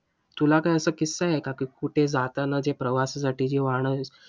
तुला का असं किस्सा आहे का? की कुठे जाताना जे प्रवासासाठी जी वाहने.